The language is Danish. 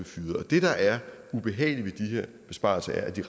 fyret det der er ubehageligt ved de her besparelser er at de